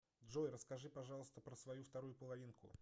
джой расскажи пожалуйста про свою вторую половинку